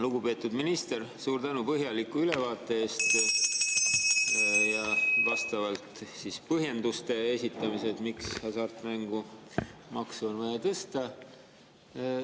Lugupeetud minister, suur tänu põhjaliku ülevaate eest ja ka põhjenduste esitamise eest, miks hasartmängumaksu on vaja tõsta.